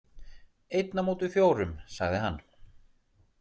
„Einn á móti fjórum“ sagði hann.